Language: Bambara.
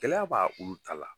Gɛlɛya b'a ko da la.